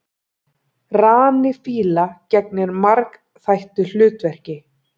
Rani fíla gegnir margþættu hlutverki.